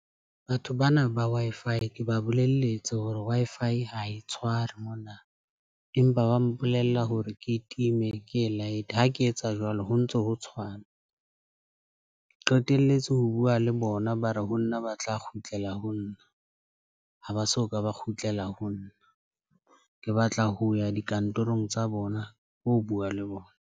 Batho bana ba Wi-Fi ke ba bolelletse hore Wi-Fi ha e tshware mona empa ba mpolella hore ke time ke e light. Ha ke etsa jwalo ho ntso ho tshwana ke qetelletse ho bua le bona. Ba re ho nna ba tla kgutlela ho nna, ha ba so ka ba kgutlela ho nna. Ke batla ho ya dikantorong tsa bona ho bua le bona.